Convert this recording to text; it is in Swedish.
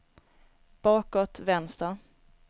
bakåt vänster